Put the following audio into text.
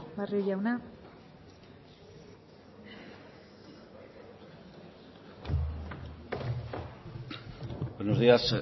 barrio jauna buenos días